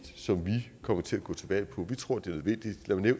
som vi kommer til at gå til valg på vi tror det